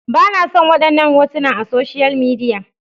Ba na son wadannan hotuna a social media.